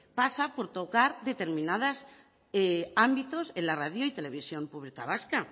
pasa por tocar determinados ámbitos en la radio y televisión pública vasca